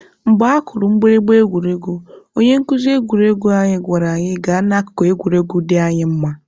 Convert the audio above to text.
Mgbe akụrụ mgbịrịgba egwuregwu, onye nkuzi egwuruegwu anyị gwara anyị gaa n'akụkụ egwuregwu dị anyị mma.